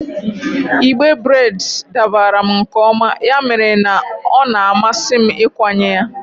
Igbe breds dabara m nke ọma, ya mere na ọ na-amasị m ịkwanye ya.